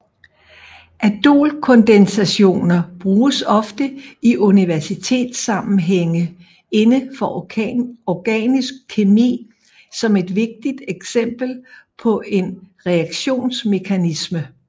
Aldolkondensationer bruges ofte i universitetssammenhænge inden for organisk kemi som et vigtigt eksempel på en reaktionsmekanisme